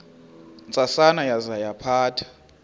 ntsasana yaza yaphatha